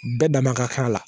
Bɛɛ dama ka kan la